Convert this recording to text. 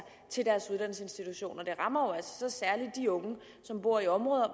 til deres uddannelsesinstitution det rammer jo altså særlig de unge som bor i områder